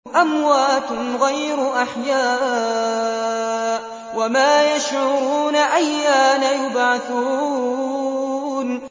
أَمْوَاتٌ غَيْرُ أَحْيَاءٍ ۖ وَمَا يَشْعُرُونَ أَيَّانَ يُبْعَثُونَ